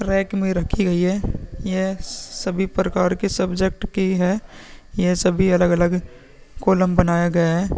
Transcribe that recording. Rack में रखी गयी है। यह सभी प्रकार के सब्जेक्ट की है। यह सभी अलग-अलग कॉलम बनाया गया है।